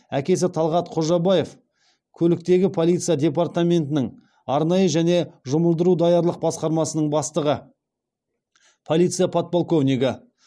әкесі талғат қожабаев көліктегі полиция департаментінің арнайы және жұмылдыру даярлық басқармасының бастығы полиция подполковнигі